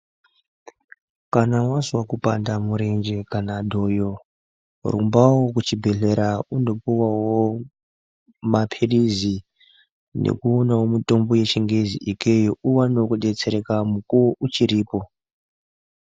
Kana wazwa kupanda murenje kana dhoyo rumbawo kuchibhedhleya undopuwawo mapilizi nekuwonawo mutombo yechingezi ikeyo uwonewo kudetsereka mukuwo uchiripo.